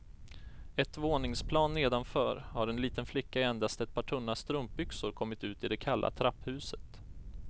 Ett våningsplan nedanför har en liten flicka i endast ett par tunna strumpbyxor kommit ut i det kalla trapphuset.